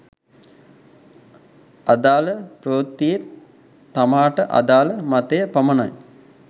අදාළ ප්‍රවෘත්තියේ තමාට අදාළ මතය පමණයි